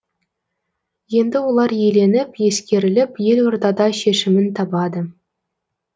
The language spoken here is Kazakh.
енді олар еленіп ескеріліп елордада шешімін табады